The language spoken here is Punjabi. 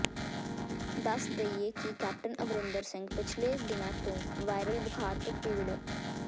ਦੱਸ ਦੇਈਏ ਕਿ ਕੈਪਟਨ ਅਮਰਿੰਦਰ ਸਿੰਘ ਪਿਛਲੇ ਦਿਨਾਂ ਤੋਂ ਵਾਇਰਲ ਬੁਖਾਰ ਤੋਂ ਪੀੜਤ